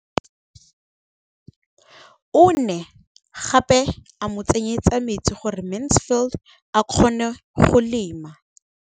O ne gape a mo tsenyetsa metsi gore Mansfield a kgone go lema.